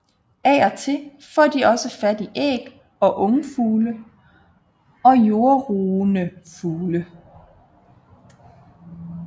Af og til får de også fat i æg og ungfugle og jordrugende fugle